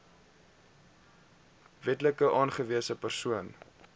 wetlik aangewese persoon